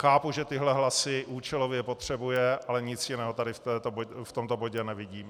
Chápu, že tyhle hlasy účelově potřebuje, ale nic jiného tady v tomto bodě nevidím.